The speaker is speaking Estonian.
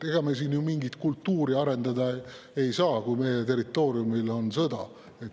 Ega me siin ju mingit kultuuri arendada ei saa, kui meie territooriumil on sõda.